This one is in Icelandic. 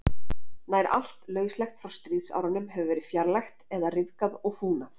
nær allt lauslegt frá stríðsárunum hefur verið fjarlægt eða ryðgað og fúnað